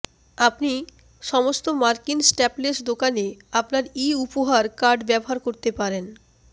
আপনি সমস্ত মার্কিন স্ট্যাপলেস দোকানে আপনার ই উপহার কার্ড ব্যবহার করতে পারেন